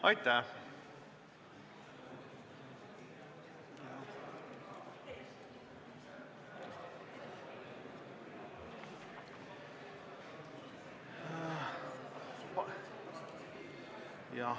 Aitäh!